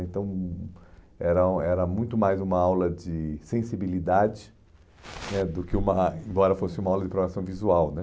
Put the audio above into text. Então, era era muito mais uma aula de sensibilidade né do que uma, embora fosse uma aula de programação visual, né?